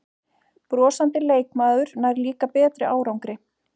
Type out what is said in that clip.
Brosandi leikmaður nær líka betri árangri